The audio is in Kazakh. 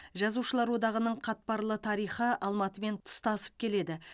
жазушылар одағының қатпарлы тарихы алматымен тұстасып келеді